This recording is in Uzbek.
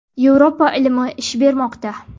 Yevropa ilmi ish bermoqda!